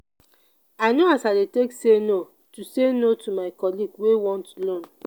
i know as i dey take say no to say no to my colleagues wey want loan.